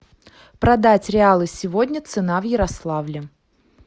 продать реалы сегодня цена в ярославле